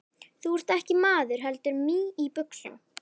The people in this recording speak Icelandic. Þú ert ekki maður heldur mý í buxum.